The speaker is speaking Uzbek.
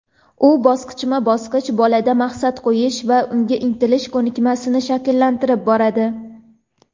u bosqichma-bosqich bolada maqsad qo‘yish va unga intilish ko‘nikmasini shakllantirib boradi.